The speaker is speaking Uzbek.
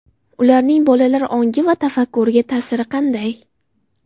Ularning bolalar ongi va tafakkuriga ta’siri qanday?